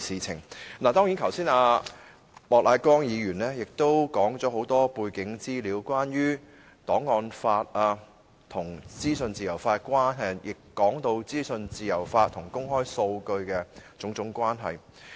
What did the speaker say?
莫乃光議員剛才已說出很多背景資料，關於檔案法和資訊自由法的關係，以及資訊自由法和公開數據的種種關係。